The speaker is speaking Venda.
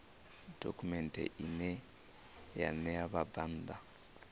dokhumenthe ine ya ṋea vhabvann